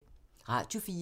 Radio 4